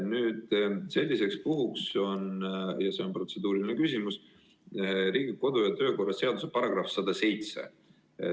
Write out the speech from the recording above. Selliseks puhuks on Riigikogu kodu- ja töökorra seaduse § 107.